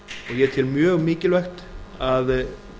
ég tel mjög mikilvægt að